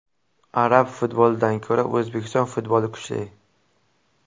Arab futbolidan ko‘ra O‘zbekiston futboli kuchli.